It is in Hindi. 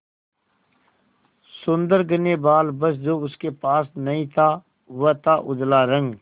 सुंदर घने बाल बस जो उसके पास नहीं था वह था उजला रंग